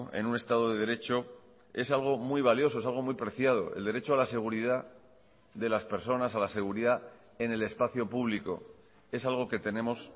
en un estado de derecho es algo muy valioso es algo muy preciado el derecho a la seguridad de las personas a la seguridad en el espacio público es algo que tenemos